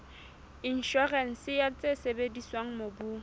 inshorense ya tse sebediswang mobung